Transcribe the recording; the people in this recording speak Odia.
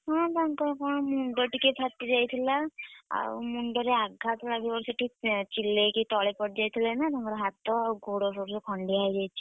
ହଁ ତାଙ୍କର କଣ ମୁଣ୍ଡ ଟିକେ ଫାଟି ଯାଇଥିଲା ଆଉ ମୁଣ୍ଡରେ ଆଘାତ ଲାଗିବାରୁ ସେ ଟିକେ ଚିଲେଇକି ତଳେ ପଡ଼ିଯାଇଥିଲେ ନା ତାଙ୍କର ହାତ ଆଉ ଗୋଡ ସବୁ ଖଣ୍ଡିଆ ହେଇଯାଇଛି।